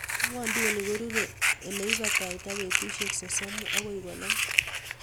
Ing'wondoni korure ileibata betusiek sosomu akoi konom.